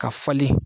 Ka falen